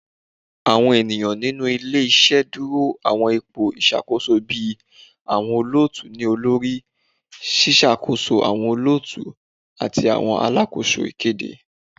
Awọn eniyan ninu ile-iṣẹ duro awọn ipo iṣakoso bii awọn olootu-ni-olori, ṣiṣakoso awọn olootu, ati awọn alakoso ikede